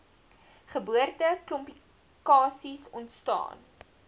geboorte komplikasies ontstaan